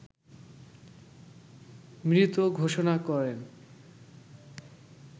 মৃত ঘোষণা করেন